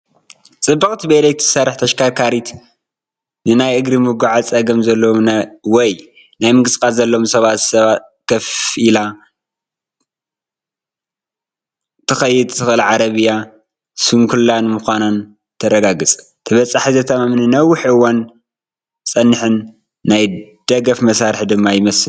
ጽቡቕቲ ብኤሌክትሪክ እትሰርሕ ተሽከርካሪት፡ ንናይ እግሪ ምጉዓዝ ጸገም ዘለዎም ወይ ናይ ምንቅስቓስ ጸገም ዘለዎም ሰባት ኮፍ ኢላ ክትከይድ እትኽእል ዓረብያ ስንኩላን ምዃና ተረጋግፅ። ተበጻሒ፡ ዘተኣማምንን ንነዊሕ እዋን ዝጸንሕን ናይ ደገፍ መሳርሒ ድማ ይመስል።